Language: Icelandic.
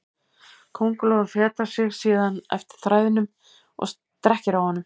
Köngulóin fetar sig síðan eftir þræðinum og strekkir á honum.